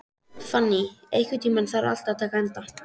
Fanný, einhvern tímann þarf allt að taka enda.